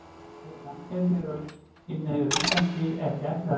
Mega samkynhneigðir á Íslandi ekki ættleiða börn?